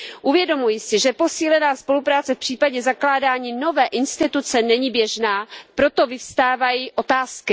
Uvědomuji si, že posílená spolupráce v případě zakládání nové instituce není běžná, proto vyvstávají otázky.